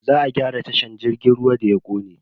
Za a gyara tashar jirgin ruwa da ya kone.